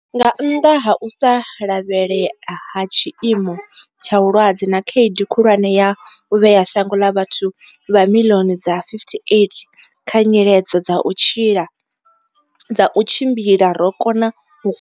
Nga nnḓa ha u sa lavhelelea ha tshiimo tsha vhulwadze na khaedu khulwane ya u vhea shango ḽa vhathu vha miḽioni dza 58 kha nyiledzo dza u tshila dza u tshimbila, ro kona u.